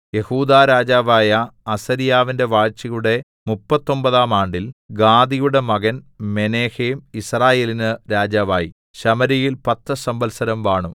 യെഹൂദാ രാജാവായ അസര്യാവിന്റെ വാഴ്ചയുടെ മുപ്പത്തൊമ്പതാം ആണ്ടിൽ ഗാദിയുടെ മകൻ മെനഹേം യിസ്രായേലിന് രാജാവായി ശമര്യയിൽ പത്തു സംവത്സരം വാണു